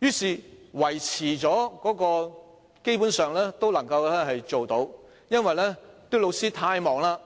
於是，學校基本上能維持營運。